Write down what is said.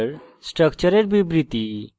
structure স্ট্রাকচারের বিবৃতি